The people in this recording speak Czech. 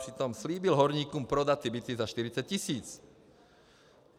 Přitom slíbil horníkům prodat byty za 40 tisíc.